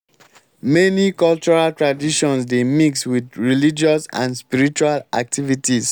many cultural traditions dey mix with religious and spiritual activities